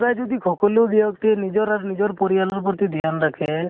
কুৱায়ে যদি সকলো ব্য়ক্তিয়ে নিজৰ আৰু নিজৰ পৰিয়ালৰ প্ৰতি ধ্য়ান ৰাখে